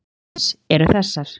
Staðreyndir málsins eru þessar